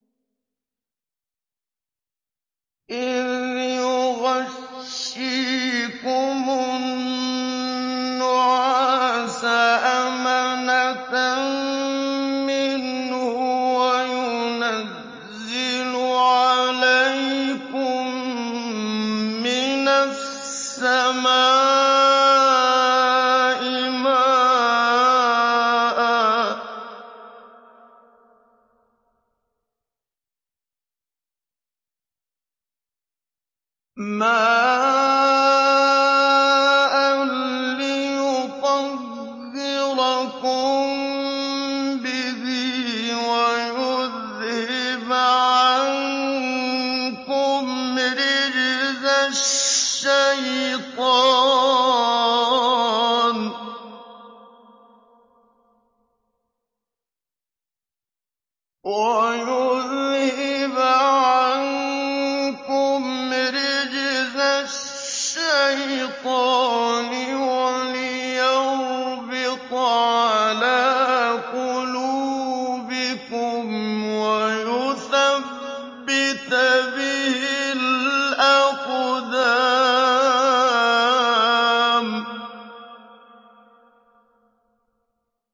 إِذْ يُغَشِّيكُمُ النُّعَاسَ أَمَنَةً مِّنْهُ وَيُنَزِّلُ عَلَيْكُم مِّنَ السَّمَاءِ مَاءً لِّيُطَهِّرَكُم بِهِ وَيُذْهِبَ عَنكُمْ رِجْزَ الشَّيْطَانِ وَلِيَرْبِطَ عَلَىٰ قُلُوبِكُمْ وَيُثَبِّتَ بِهِ الْأَقْدَامَ